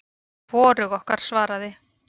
Hvorug okkar svaraði.